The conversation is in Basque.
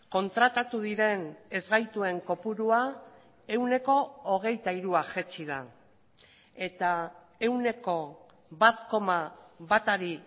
kontratatu diren ezgaituen kopurua ehuneko hogeita hirua jaitsi da eta ehuneko bat koma batari